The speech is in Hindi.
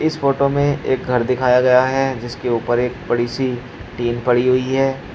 इस फोटो में एक घर दिखाया गया है जिसके ऊपर एक बड़ी सी टीन पड़ी हुई है।